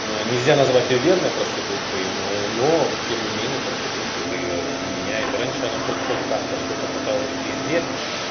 нельзя назвать её верной проституткой но тем не менее проститутка это её не меняет раньше она хоть как-то что-то пыталась везде